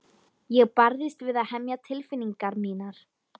Ég barðist við að hemja tilfinningar mínar.